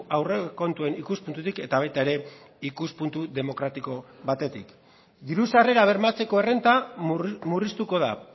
aurrekontuen ikuspuntutik eta baita ere ikuspuntu demokratiko batetik diru sarrerak bermatzeko errenta murriztuko da